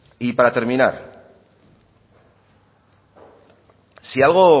para terminar si algo